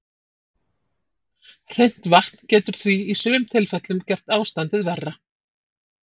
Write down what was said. Hreint vatn getur því í sumum tilfellum gert ástandið verra.